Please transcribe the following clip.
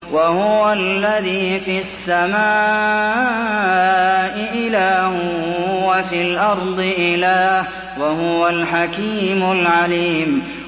وَهُوَ الَّذِي فِي السَّمَاءِ إِلَٰهٌ وَفِي الْأَرْضِ إِلَٰهٌ ۚ وَهُوَ الْحَكِيمُ الْعَلِيمُ